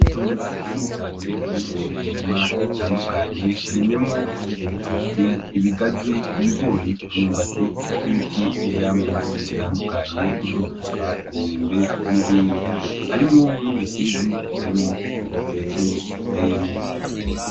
Itongo rinini cane ririmwo imirima itandukanye irimyemwo; ibitoki, ibigazi, ibigori imyumbati nibiti vyivyamwa bitandukanye ; nk'amavoka , imyembe nibindi harimwo n,ubusizi butarimwo ikintu na kimwe giteyemwo.